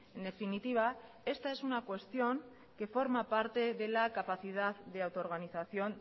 en definitiva esta es una cuestión que forma parte de la capacidad de autoorganización